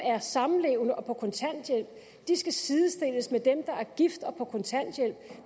er samlevende og på kontanthjælp skal sidestilles med dem der er gift og på kontanthjælp